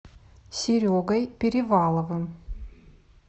серегой переваловым